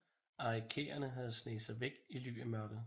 Arikaraerne havde sneget sig væk i ly af mørket